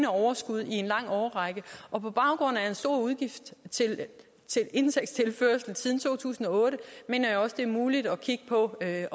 overskud i en lang årrække og på baggrund af en stor indtægtstilførsel siden to tusind og otte mener jeg også at det er muligt at kigge på at